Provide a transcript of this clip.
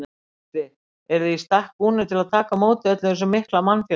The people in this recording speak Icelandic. Gísli: Eruð þið í stakk búnir til að taka á móti þessum mikla mannfjölda?